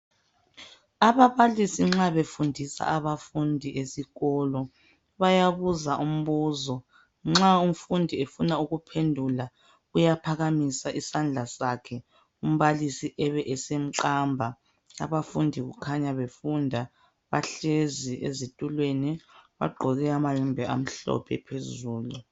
Ababalisi nxa befundisa abafundi esikolo bayabuza umbuzo umfundi nxa efuna ukuphendulauyaohakamisa isandla sakhe umbalisi ebesemqamba abafundi khanya befunda bahlezi ezitulweni bagqoke amayembe amhlophe phezulu.